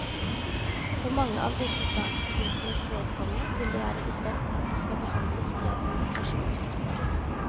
For mange av disse sakstypenes vedkommende vil det være bestemt at de skal behandles i administrasjonsutvalget.